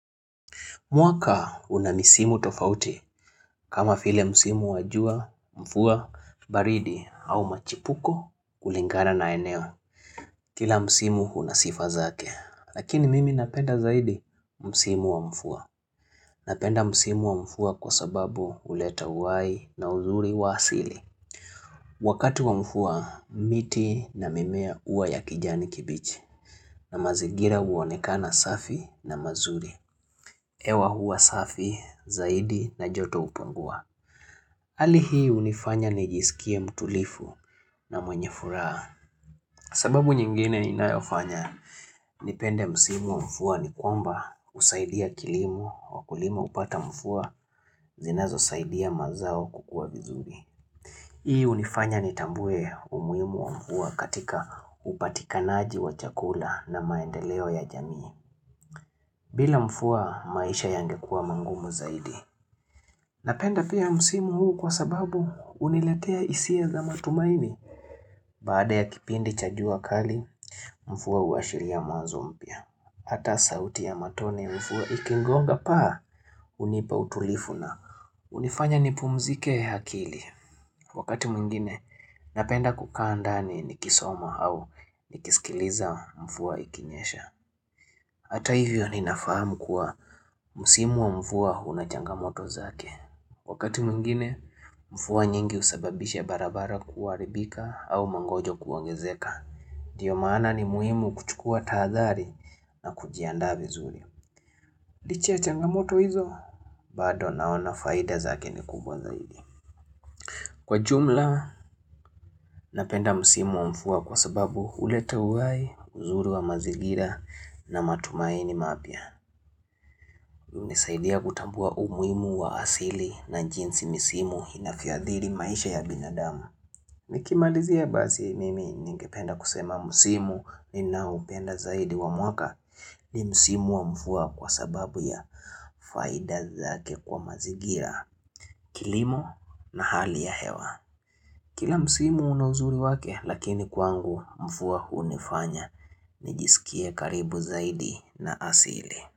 Mwaka una misimu tofauti kama vile msimu wa jua, mvua, baridi au machipuko kulingana na eneo. Kila msimu una sifa zake. Lakini mimi napenda zaidi msimu wa mvua. Napenda msimu wa mvua kwa sababu huleta uhai na uzuri wa hasili. Wakati wa mvua, miti na mimea huwa ya kijani kibichi. Na mazigira huonekana safi na mazuri. Hewa huwa safi, zaidi na joto hupungua hali hii hunifanya nijisikie mtulifu na mwenye furaha sababu nyingine inayofanya nipende msimu wa mvua ni kwamba husaidia kilimu Wakulima hupata mvua zinazosaidia mazao kukua vizuri Hii unifanya nitambue umuhimu mvua katika upatikanaji wa chakula na maendeleo ya jamii bila mvua maisha yangekuwa magumu zaidi Napenda pia msimu huu kwa sababu huniletea hisia za matumaini. Baada ya kipindi cha jua kali, mvua huashiria mwanzo mpya. Hata sauti ya matone mvua ikigonga paa, hunipa utulivu na. Hunifanya nipumzike akili. Wakati mwingine, napenda kukaa ndani nikisoma au, nikisikiliza mvua ikinyesha. Hata hivyo ninafahamu kuwa msimu wa mvua una changamoto zake. Wakati mwingine, mvua nyingi husababisha barabara kuharibika au mangojo kuongezeka. Ndiyo maana ni muhimu kuchukua tahadhari na kujiandaa vizuri. Licha ya changamoto hizo, bado naona faida zake ni kubwa zaidi. Kwa jumla, napenda msimu wa mvua kwa sababu huleta uhai, uzuru wa mazigira na matumaini mapya. Nisaidia kutambua umuhimu wa asili na jinsi misimu inavyoadhiri maisha ya binadamu Nikimalizia basi mimi ningependa kusema misimu ninaoupenda zaidi wa mwaka ni misimu wa mvua kwa sababu ya faida zake kwa mazingira, kilimo na hali ya hewa Kila misimu una uzuri wake lakini kwangu mvua hunifanya nijiskia karibu zaidi na asili.